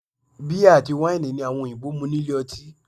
Bíà àti wáìnì ni àwọn òyìnbó mu nílé ọtí